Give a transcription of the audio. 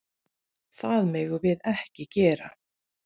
Það megum við ekki gera.